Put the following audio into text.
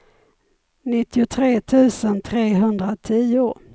nittiotre tusen trehundratio